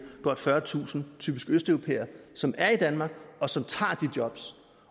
godt fyrretusind typisk østeuropæere som er i danmark og som tager de jobs